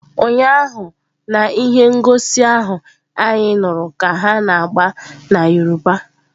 Ụnyaahụ na ihe ngosi ahụ anyị nụrụ ka ha na-agba na Yoruba.